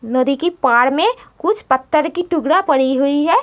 नदिया के पाड़ में कुछ पत्थर के टुकड़ा पड़ी हुई है।